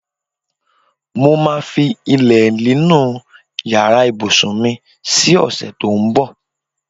Mo máa fi ilé nínú yàrạ ìbùsùn mi si ò̩sè̩ tó ń bò̩.